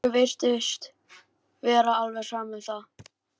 Rikku virtist vera alveg sama um það.